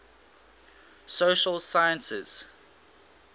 social sciences